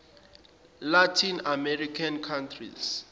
latin american countries